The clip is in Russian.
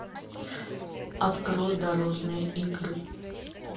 открой дорожные игры